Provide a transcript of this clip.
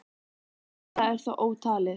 Það versta er þó ótalið.